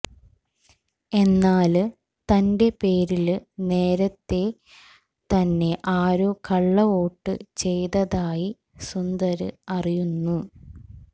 എന്നാല് തന്റെ പേരില് നേരത്തേ തന്നെ ആരോ കള്ള വോട്ട് ചെയ്തതായി സുന്ദര് അറിയുന്നു